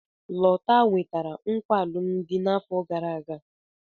Lota nwetara nkwa alụmdi n'afọ gara aga.